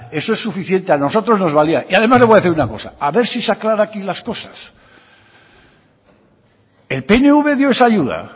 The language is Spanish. eso es suficiente a nosotros nos valía y además le voy decir una cosa a ver si se aclara aquí las cosas el pnv dio esa ayuda